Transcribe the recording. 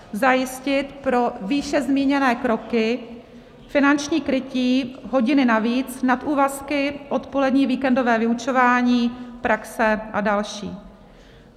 Zajistit pro výše zmíněné kroky finanční krytí: hodiny navíc, nadúvazky, odpolední, víkendové vyučování, praxe a další.